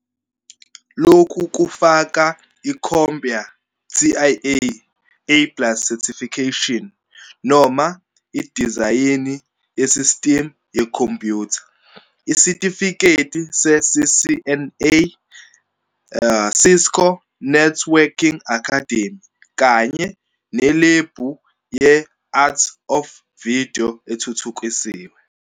Lokhu kufaka i-CompTIA A plus Certification, noma idizayini yesistimu yekhompyutha, isitifiketi se-CCNA, Cisco Networking Academy, kanye nelebhu ye-Art of Video ethuthukisiwe.